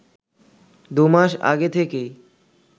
দু’মাস আগে থেকেই